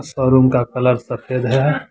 Showroom का colour सफेद है।